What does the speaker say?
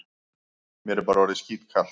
Mér er bara orðið skítkalt.